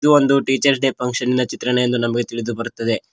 ಇದು ಒಂದು teachers day ಫಂಕ್ಷನ್ನಿನ ಚಿತ್ರಣ ಎಂದು ನಮಗೆ ತಿಳಿದು ಬರುತ್ತದೆ.